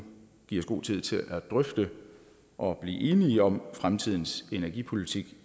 give os god tid til at drøfte og blive enige om fremtidens energipolitik